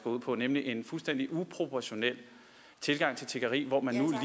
ud på nemlig en fuldstændig uproportionel tilgang til tiggeri hvor man nu